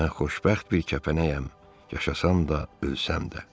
Mən xoşbəxt bir kəpənəyəm, yaşasan da, ölsəm də.